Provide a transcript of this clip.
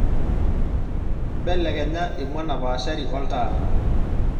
mbelekenya emua napaashari oltaa